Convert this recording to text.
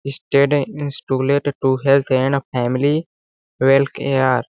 study student health and family well care --